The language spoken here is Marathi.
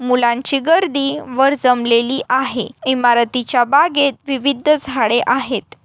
मुलांची गर्दी वर जमलेली आहे. इमारतीच्या बागेत विविध झाडे आहेत.